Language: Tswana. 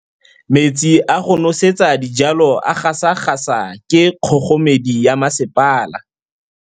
Metsi a go nosetsa dijalo a gasa gasa ke kgogomedi ya masepala.